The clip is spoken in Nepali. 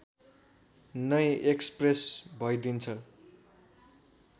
नै एक्सप्रेस भइदिन्छ